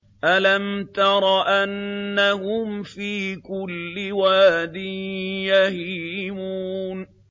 أَلَمْ تَرَ أَنَّهُمْ فِي كُلِّ وَادٍ يَهِيمُونَ